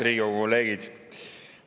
Head Riigikogu kolleegid!